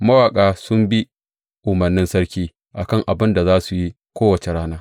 Mawaƙa sun bi umarnan sarki, a kan abin da za su yi kowace rana.